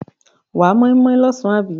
Wà á móínmóín lọ́sàn àbí?